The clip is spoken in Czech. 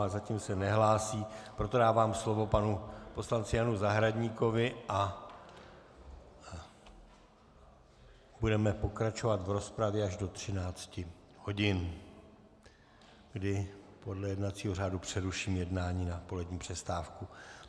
Ale zatím se nehlásí, proto dávám slovo panu poslanci Janu Zahradníkovi a budeme pokračovat v rozpravě až do 13 hodin, kdy podle jednacího řádu přeruším jednání na polední přestávku.